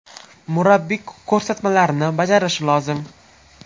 Murabbiy ko‘rsatmalarini bajarishi lozim.